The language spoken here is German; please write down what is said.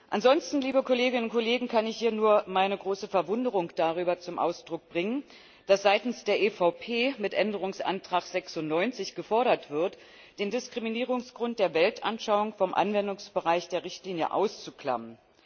Ansonsten kann ich hier nur meine große Verwunderung darüber zum Ausdruck bringen, dass seitens der EVP mit Änderungsantrag 96 gefordert wird, den Diskriminierungsgrund der Weltanschauung vom Anwendungsbereich der Richtlinie auszuklammern.